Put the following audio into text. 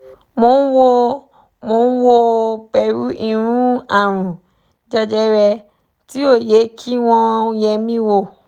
mò ń wò mò ń wò ó pé irú àrùn jẹjẹrẹ tí ó yẹ kí wọ́n yẹ̀ mí wò